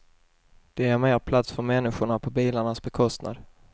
Det ger mer plats för människorna på bilarnas bekostnad.